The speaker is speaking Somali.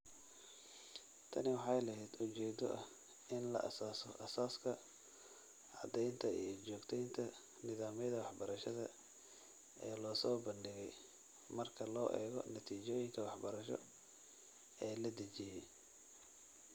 Tani waxa ay lahayd ujeedo ah in la aasaaso aasaaska, caddaynta, iyo joogtaynta nidaamyada waxbarashada ee la soo bandhigay marka loo eego natiijooyinka waxbarasho ee la dejiyay.